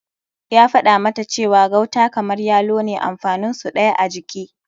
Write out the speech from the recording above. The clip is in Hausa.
Ya faɗa mata cewa gauta kamar yalo ne amfanin su ɗaya a jiki.